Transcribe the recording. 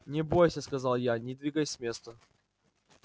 не бойся сказал я не двигаясь с места